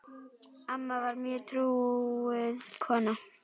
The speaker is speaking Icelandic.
Amma var mjög trúuð kona.